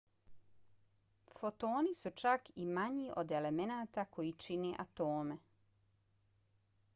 fotoni su čak i manji od elemenata koji čine atome!